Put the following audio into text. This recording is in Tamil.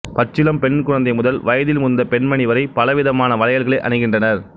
பச்சிளம் பெண் குழந்தை முதல் வயதில் முதிர்ந்த பெண்மணி வரை பல விதமான வளையல்களை அணிகின்றனர்